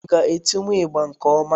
Ị ga etiwu ịgbà nke ọma?